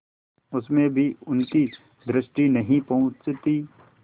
उसमें भी उनकी दृष्टि नहीं पहुँचती